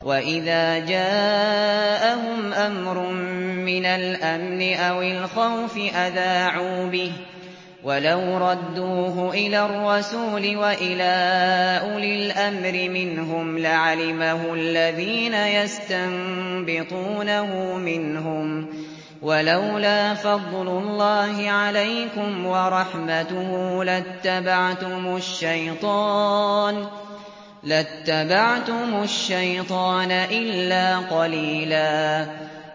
وَإِذَا جَاءَهُمْ أَمْرٌ مِّنَ الْأَمْنِ أَوِ الْخَوْفِ أَذَاعُوا بِهِ ۖ وَلَوْ رَدُّوهُ إِلَى الرَّسُولِ وَإِلَىٰ أُولِي الْأَمْرِ مِنْهُمْ لَعَلِمَهُ الَّذِينَ يَسْتَنبِطُونَهُ مِنْهُمْ ۗ وَلَوْلَا فَضْلُ اللَّهِ عَلَيْكُمْ وَرَحْمَتُهُ لَاتَّبَعْتُمُ الشَّيْطَانَ إِلَّا قَلِيلًا